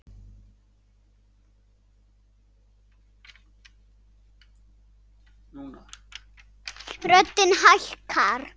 Röddin hækkar.